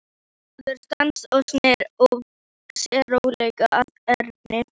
Maðurinn stansaði og sneri sér rólega að Erni.